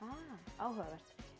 áhugavert